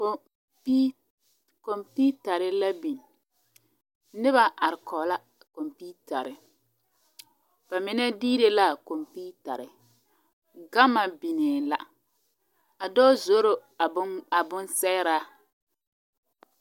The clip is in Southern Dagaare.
Kɔmpii kɔmpiitare la biŋ noba are kɔge la a kɔmpiitare ba mine diire la a kɔmpiitare gama biŋee la a dɔɔ zoro a bon a bonsɛgraa.